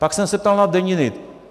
Pak jsem se ptal na deniny.